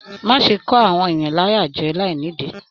Má ṣe kọ àwọn èèyàn láyà jẹ láì nìdí.